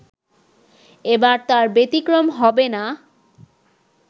এবার তার ব্যতিক্রম হবে না